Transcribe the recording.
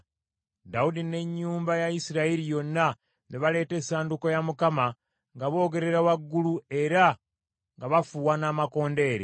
Dawudi n’ennyumba ya Isirayiri yonna ne baleeta essanduuko ya Mukama nga boogerera waggulu, era nga bafuuwa n’amakondeere.